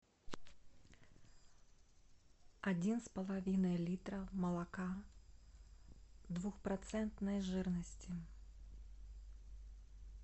один с половиной литра молока двухпроцентной жирности